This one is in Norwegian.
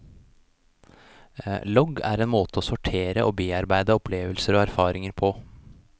Logg er en måte å sortere og bearbeide opplevelser og erfaringer på.